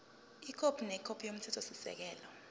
ikhophi nekhophi yomthethosisekelo